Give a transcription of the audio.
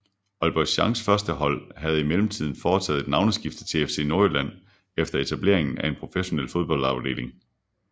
Aalborg Changs førstehold havde i mellemtiden foretaget et navneskifte til FC Nordjylland efter etableringen af en professionel fodboldafdeling